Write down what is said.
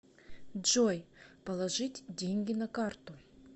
джой положить деньги на карту